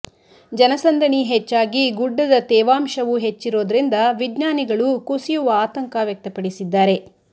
ಜನಸಂದಣಿ ಹೆಚ್ಚಾಗಿ ಗುಡ್ಡದ ತೇವಾಂಶವೂ ಹೆಚ್ಚಿರೋದ್ರಿಂದ ವಿಜ್ಞಾನಿಗಳು ಕುಸಿಯುವ ಆತಂಕ ವ್ಯಕ್ತಪಡಿಸಿದ್ದಾರೆ